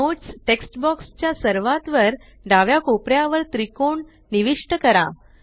notes text box च्या सर्वात वर डाव्या कोपऱ्यावर त्रिकोण निविष्ट करा